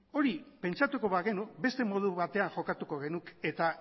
hori pentsatuko bagenu beste modu batean jokatuko genuke eta